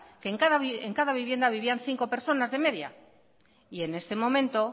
que en cada vivienda vivían cinco personas de media y en este momento